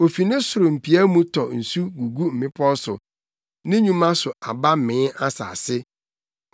Ofi ne soro mpia mu tɔ nsu gugu mmepɔw so; ne nnwuma so aba mee asase.